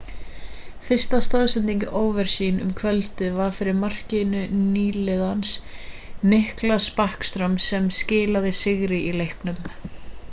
fyrsta stoðsending ovechkin um kvöldið var fyrir markið nýliðans nicklas backstrom sem skilaði sigri í leiknum